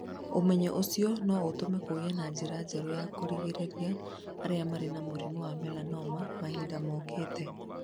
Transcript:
Ũmenyo ũcio no ũtũme kũgĩe na njĩra njerũ ya kũrigĩrĩria arĩa marĩ na mũrimũ wa melanoma mahinda mokĩte.